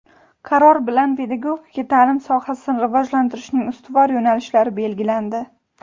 Qaror bilan pedagogika taʼlim sohasini rivojlantirishning ustuvor yo‘nalishlari belgilandi.